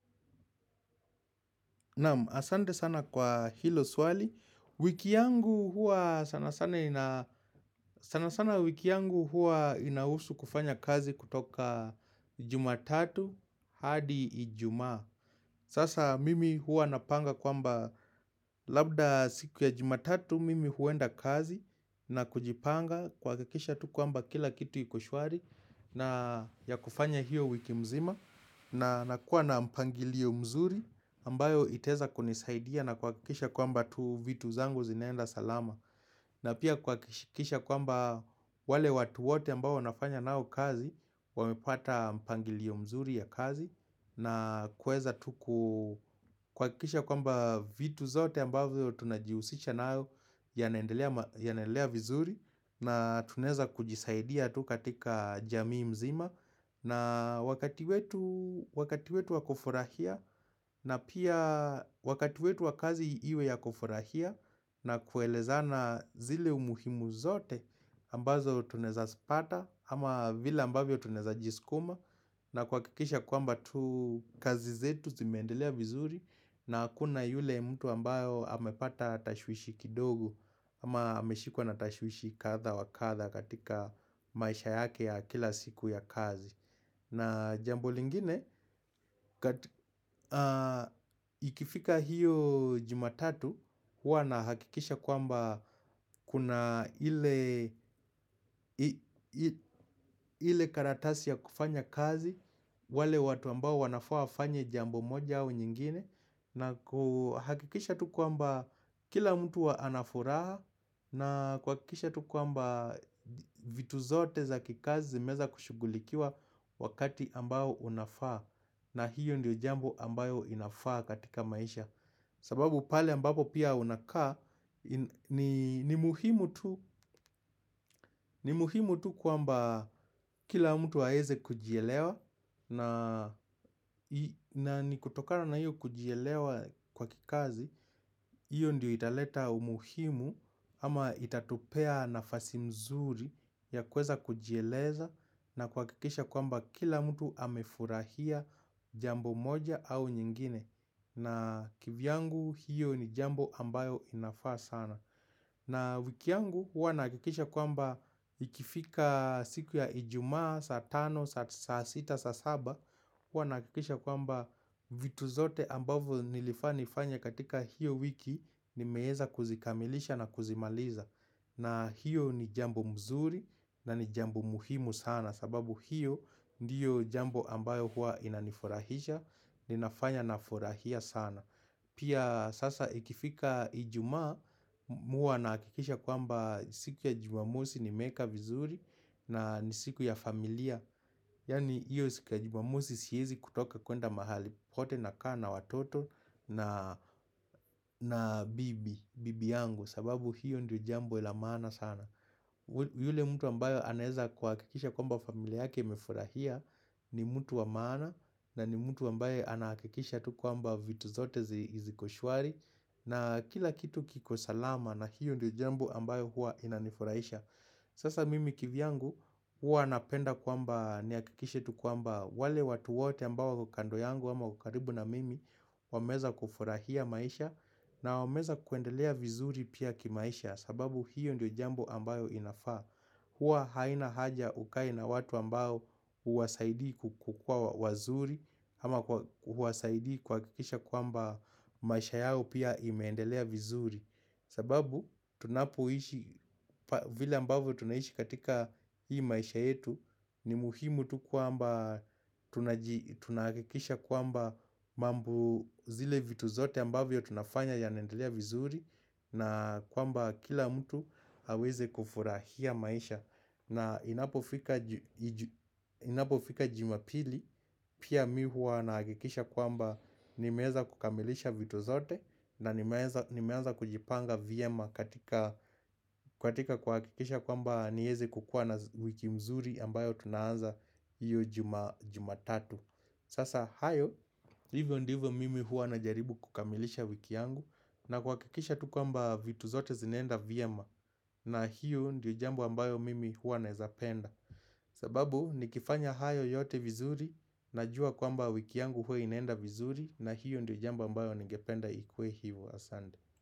Asante sana kwa hilo swali, wiki yangu huwa sana sana wiki yangu huwa inahusu kufanya kazi kutoka jumatatu hadi ijumaa. Sasa mimi huwa napanga kwamba labda siku ya jumatatu mimi huenda kazi na kujipanga kuhakakisha tu kwamba kila kitu ikoshwari na ya kufanya hiyo wiki mzima. Na nakuwa na mpangilio mzuri ambayo itaeza kunisaidia na kuhakikisha kwamba tu vitu zangu zinaenda salama na pia kuhakikisha kwamba wale watu wote ambao nafanya nao kazi wamepata mpangilio mzuri ya kazi na kuweza tu ku kuhakikisha kwamba vitu zote ambayo tunajihusisha nayo yanaendelea vizuri na tunaeza kujisaidia tu katika jamii mzima na wakati wetu wakati wetu wakufurahia na pia wakati wetu wa kazi iwe ya kufurahia na kuelezana zile umuhimu zote ambazo tunaeza zipata ama vile ambavyo tunaeza jiskuma na kuhakikisha kuamba tu kazi zetu zimendelea vizuri na hakuna yule mtu ambayo amepata tashwishi kidogo ama ameshikwa na tashwishi kadha wakadha katika maisha yake ya kila siku ya kazi. Na jambo lingine, ikifika hiyo jumatatu, huwa na hakikisha kwamba kuna ile karatasi ya kufanya kazi, wale watu ambao wanafaa wafanye jambo moja au nyingine, na kuhakikisha tu kwamba kila mtu anafuraha, na kuhakikisha tu kwamba vitu zote za kikazi zimeeza kushugulikiwa wakati ambao unafaa. Na hiyo ndiyo jambo ambayo inafaa katika maisha sababu pale ambapo pia unakaa ni muhimu tu kwamba kila mtu aeze kujielewa na ni kutokana na hiyo kujielewa kwa kikazi hiyo ndiyo italeta umuhimu ama itatupea nafasi mzuri ya kuweza kujieleza na kuhakikisha kwamba kila mtu amefurahia jambo moja au nyingine na kivyangu hiyo ni jambo ambayo inafaa sana na wiki yangu huwa nahakikisha kwamba ikifika siku ya ijumaa, saa tano, saa sita, saa saba huwa nahakikisha kwamba vitu zote ambavyo nilifaa nifanye katika hiyo wiki nimeeza kuzikamilisha na kuzimaliza na hiyo ni jambo mzuri na ni jambo muhimu sana sababu hiyo ndiyo jambo ambayo huwa inanifurahisha Ninafanya nafurahia sana Pia sasa ikifika ijuma mi huwa na hakikisha kwamba siku ya jumamosi nimeeka vizuri na ni siku ya familia Yani hiyo siku ya jumamosi siyezi kutoka kuenda mahali wote na kaa na watoto na bibi, bibi yangu sababu hiyo ndiyo jambo la maana sana yule mtu ambayo anaeza kuhakikisha kwamba familia yake imefurahia ni mtu wa maana na ni mtu ambaye anahakikisha tu kwamba vitu zote ziko shwari na kila kitu kiko salama na hiyo ndio jambo ambayo hua inanifuraisha Sasa mimi kivyangu huwa napenda kwamba niakikishe tu kwamba wale watu wote ambao wako kando yangu ama ukaribu na mimi wameeza kufurahia maisha na wameeza kuendelea vizuri pia kimaisha sababu hiyo ndio jambo ambayo inafaa. Huwa haina haja ukae na watu ambao huwasaidii kukuwa wazuri ama huwasaidii kuhakikisha kwamba maisha yao pia imeendelea vizuri sababu tunapoishi, vile ambavyo tunaishi katika hii maisha yetu ni muhimu tu kwamba tunaji akikisha kwamba mambo zile vitu zote ambavyo tunafanya yanaendelea vizuri na kwamba kila mtu aweze kufurahia maisha na inapo fika jumapili Pia mi huwa nahakikisha kwamba nimeeza kukamilisha vitu zote na nimeenza kujipanga vyema katika kuhakikisha kwamba nieze kukuwa na wiki mzuri ambayo tunaanza hiyo juma tatu Sasa hayo, hivyo ndivyo mimi huwa najaribu kukamilisha wiki yangu na kuhakikisha tu kwamba vitu zote zinaenda vyema na hiyo ndiyo jambo ambayo mimi huwa naezapenda sababu nikifanya hayo yote vizuri Najua kwamba wiki yangu hua inaenda vizuri na hiyo ndiyo jambo ambayo ningependa ikue hivo asante.